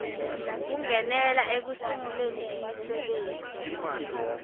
kungenela ekusunguleni imisebenti